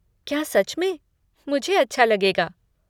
क्या सच में? मुझे अच्छा लगेगा।